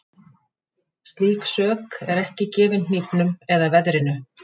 Slík sök er ekki gefin hnífnum eða veðrinu.